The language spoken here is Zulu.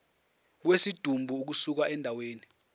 kwesidumbu ukusuka endaweni